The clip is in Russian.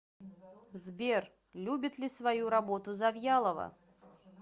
сбер любит ли свою работу завьялова